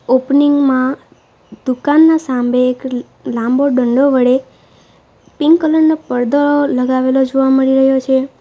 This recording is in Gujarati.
ઓપનિંગમાં દુકાનના સામે એક લાંબો ડંડો વડે પિંક કલરનો પડદો લગાવેલો જોવા મળી રહ્યો છે.